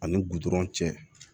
Ani gudɔrɔn cɛ